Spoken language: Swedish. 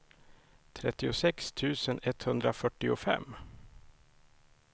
trettiosex tusen etthundrafyrtiofem